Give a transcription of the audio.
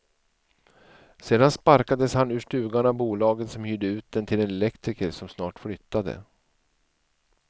Sedan sparkades han ur stugan av bolaget som hyrde ut den till en elektriker som snart flyttade.